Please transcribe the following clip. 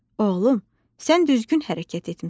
Oğlum, sən düzgün hərəkət etmisən.